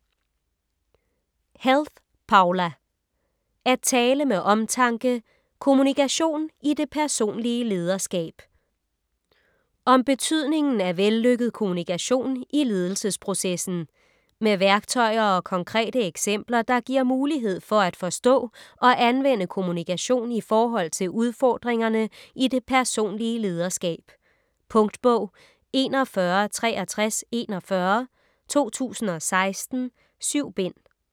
Helth, Poula: At tale med omtanke: kommunikation i det personlige lederskab Om betydningen af vellykket kommunikation i ledelsesprocessen. Med værktøjer og konkrete eksempler, der giver mulighed for at forstå og anvende kommunikation i forhold til udfordringerne i det personlige lederskab. Punktbog 416341 2016. 7 bind.